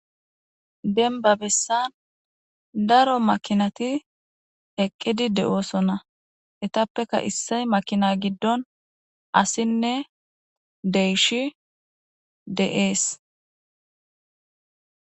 Demba bessa daro makinati eqqidi de'osona eetappeka issay makina gidon asinne deyshi de'es.